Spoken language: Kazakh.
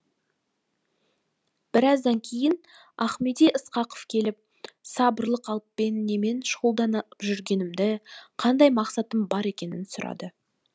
біраздан кейін ахмеди ысқақов келіп сабырлы қалыппен немен шұғылданып жүргенімді қандай мақсатым бар екенін сұрады